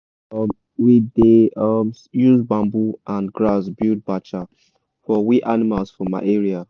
um we da um use bamboo and grass build bacha for we animals for my area